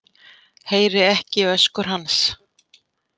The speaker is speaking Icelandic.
Heyri ekki öskur hans.